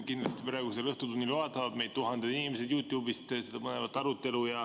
Kindlasti vaatavad praegusel õhtutunnil tuhanded inimesed YouTube'ist seda põnevat arutelu.